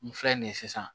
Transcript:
N filɛ nin ye sisan